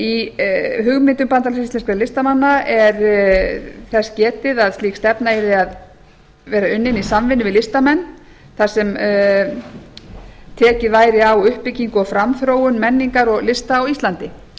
í hugmyndum bandalags íslenskra listamanna er þess getið að slík stefna yrði að vera unnin í samvinnu við listamenn þar sem tekið væri á uppbyggingu og framþróun menningar og lista á íslandi